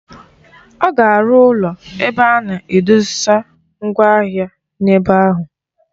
Ọ ga-arụ ụlọ ebe a na-edosa mgwa ahịa n'ebe ahụ.